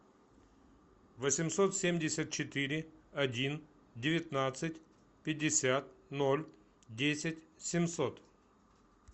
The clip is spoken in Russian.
восемьсот семьдесят четыре один девятнадцать пятьдесят ноль десять семьсот